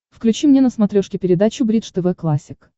включи мне на смотрешке передачу бридж тв классик